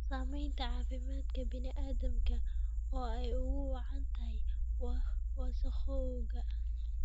Saamaynta caafimaadka bini'aadamka oo ay ugu wacan tahay wasakhowga.